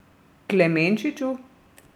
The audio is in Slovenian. Klemenčiču?